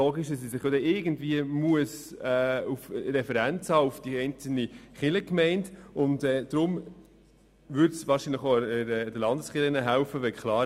Wahrscheinlich würde es den Landeskirchen helfen, wenn klar wäre, dass es weniger Kirchgemeinden geben sollte.